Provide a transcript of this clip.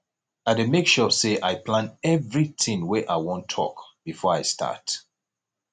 i dey make sure sey i plan everytin wey i wan tok before i start